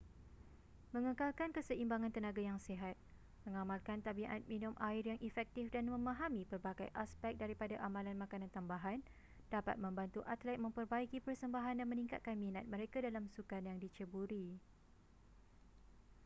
mengekalkan keseimbangan tenaga yang sihat mengamalkan tabiat minum air yang efektif dan memahami pelbagai aspek daripada amalan makanan tambahan dapat membantu atlet memperbaiki persembahan dan meningkatkan minat mereka dalam sukan yang diceburi